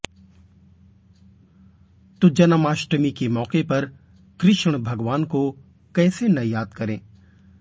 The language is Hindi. तो जनमाष्टमी के मौके पर कृष्ण भगवान को कैसे न याद करें